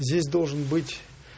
здесь должен быть